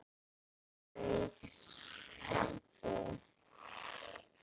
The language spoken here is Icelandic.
Þungt hugsi?